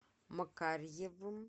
макарьевым